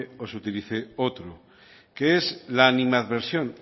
o se utilice otro que es la animadversión